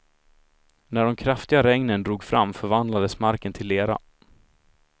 När de kraftiga regnen drog fram förvandlades marken till lera.